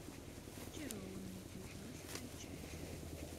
зачарованные девятнадцатая часть